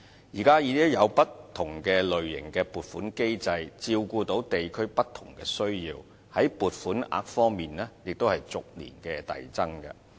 現時已經有不同類型的撥款機制照顧地區的不同需要，在撥款額方面也逐年遞增。